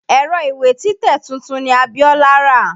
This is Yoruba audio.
Ẹ̀rọ ìwé títẹ̀ tuntun ni Abiọ́lá rà.